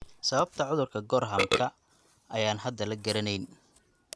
Sababta cudurka Gorhamka ayaan hadda la garanayn.